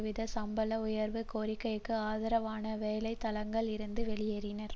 வீத சம்பள உயர்வு கோரிக்கைக்கு ஆதரவாக வேலை தளங்களில் இருந்து வெளியேறினர்